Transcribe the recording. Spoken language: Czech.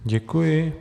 Děkuji.